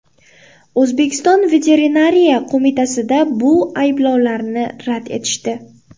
O‘zbekiston Veterinariya qo‘mitasida bu ayblovlarni rad etishdi.